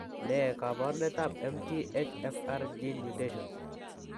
Ne kaabarunetap MTHFR gene mutations?